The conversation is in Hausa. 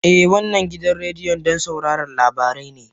eh, wannan gidan rediyon don sauraron labarai ne